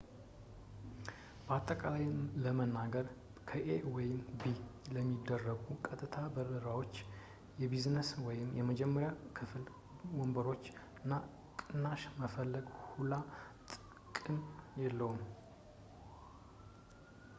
በአጠቃላይ ለመናገር ከኤ ወደ ቢ ለሚደረጉ ቀጥታ በረራዎች የቢዝነስ ወይም የመጀመሪያ ክፍል ወንበሮች ላይ ቅናሽ መፈለግ ሁላ ጥቅም የለውም